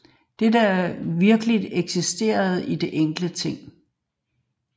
Det der virkeligt eksisterer er de enkelte ting